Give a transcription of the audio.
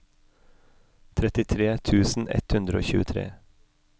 trettitre tusen ett hundre og tjuetre